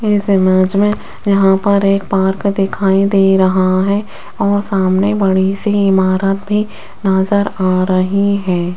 इस इमेज में यहां पर एक पार्क दिखाई दे रहा है और सामने बड़ी सी इमारत भी नजर आ रही है।